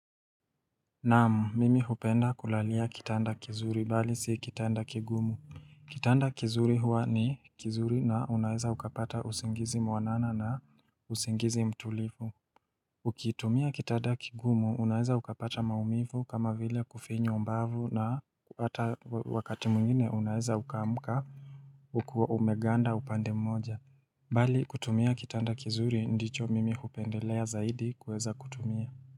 Naam mimi hupenda kulalia kitanda kizuri bali si kitanda kigumu Kitanda kizuri huwa ni kizuri na unaeza ukapata usingizi mwanana na usingizi mtulivu Ukitumia kitanda kigumu unaeza ukapata maumivu kama vile kufinywa mbavu na hata wakati mwingine unaeza uka amka ukiwa umeganda upande mmoja Bali kutumia kitanda kizuri ndicho mimi hupendelea zaidi kueza kutumia.